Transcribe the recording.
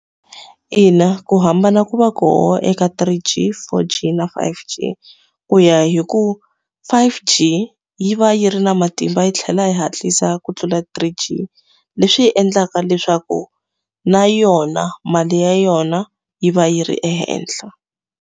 Ina ku hambana ku va ku hoxa eka three G, four G, na five G, ku ya hi ku five G yi va yi ri na matimba yi tlhela yi hatlisa ku tlula three G. Leswi endlaka leswaku na yona mali ya yona yi va yi ri ehenhla.